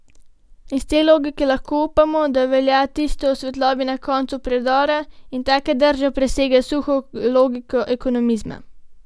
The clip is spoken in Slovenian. Iz te logike lahko upamo, da velja tisto o svetlobi na koncu predora in taka drža presega suho logiko ekonomizma.